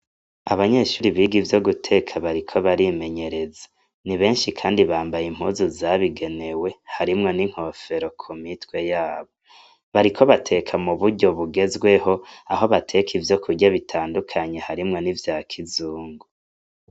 Abanyeshure biga ivyo guteka bariko barimenyereza . Ni benshi kandi bambaye impuzu zabigenewe, harimwo n' inkofero ku mitwe yabo. Bariko bateka mu buryo bugezweho aho bateka ivyo kurya batandukanye harimwo nivya kizungu.